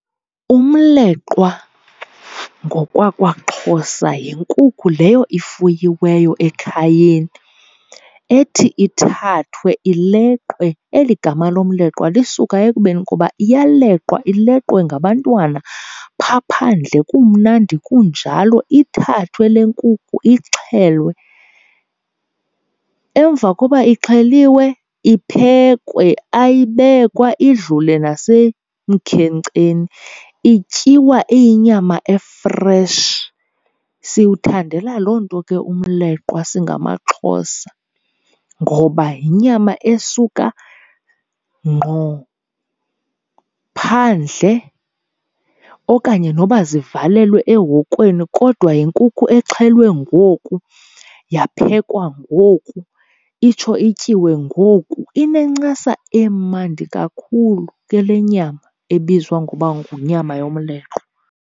Umleqwa ngokwakwaXhosa yinkukhu leyo ifuyiweyo ekhayeni, ethi ithathwe ileqwe. Eli gama lomleqwa lisuka ekubeni koba iyaleqwa, ileqwe ngabantwana phaa phandle kumnandi kunjalo. Ithathwe le nkukhu ixhelwe. Emva koba ixheliwe iphekwe, ayibekwa idlule nasemkhenkceni, ityiwa iyinyama efreshi. Siwuthandela loo nto ke umleqwa singamaXhosa, ngoba yinyama esuka ngqo phandle. Okanye noba zivalelwe ehokweni kodwa yinkukhu exhelwe ngoku, yaphekwa ngoku, itsho ityiwe ngoku. Inencasa emandi kakhulu ke le nyama ebizwa ngoba yinyama yomleqwa.